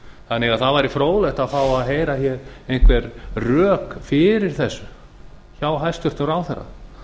þannig að það væri fróðlegt að fá að heyra hér einhver rök fyrir þessu hjá hæstvirtum ráðherra